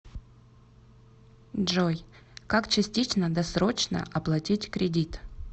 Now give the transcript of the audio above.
джой как частично досрочно оплатить кредит